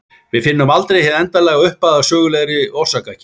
Við finnum aldrei hið endanlega upphaf að sögulegri orsakakeðju.